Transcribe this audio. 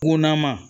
Kunnama